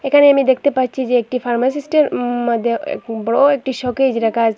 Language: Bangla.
এখানে আমি দেখতে পাচ্ছি যে একটি ফার্মাসিস্টের উম মধ্যে এ বড় একটি শোকেস রাখা আসে।